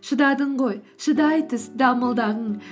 шыдадың ғой шыдай түс дамылдағын